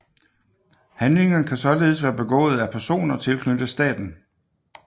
Handlingerne kan således være begået af personer tilknyttet staten